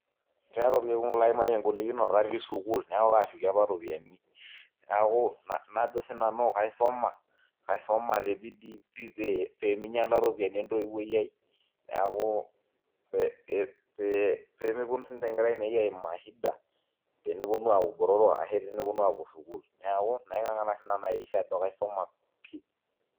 Kaata orkekun laimayie engolikinoto atii sukuul neeku kaashuki apa iropiyiani, neeku najo sinanu kaisoma te bidii pii pee minyiala iropiyiani entoiwo aai neeku ee pee meponu siinche nkera ainei aimaa shida teneponu aaku botorok ashu teneponu apuo sukuul neeku naing'ang'ana sinanu aiakikisha ajo kaisuma pii.